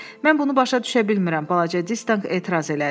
Mən bunu başa düşə bilmirəm, balaca Distanq etiraz elədi.